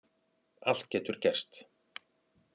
Allt getur gerst